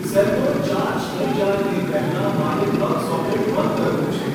cell phone charge થઇ જાય તે પહેલાં મારે પ્લગ સોકેટ બંધ કરવું છે